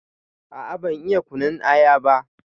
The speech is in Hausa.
A a ban iya kunun aya ba.